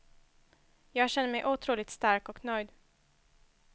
Jag kände mig otroligt stark och nöjd.